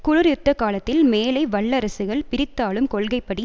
குளிர் யுத்த காலத்தில் மேலை வல்லரசுகள் பிரித்தாளும் கொள்கைப்படி